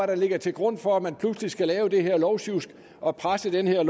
der ligger til grund for at man pludselig skal lave det her lovsjusk og presse det her